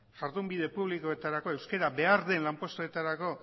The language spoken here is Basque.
jardun bide publikoetarako euskera behar den lanpostuetarako